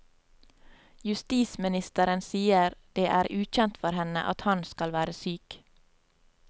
Justisministeren sier det er ukjent for henne at han skal være syk.